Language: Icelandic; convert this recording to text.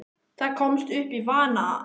Það komst upp í vana að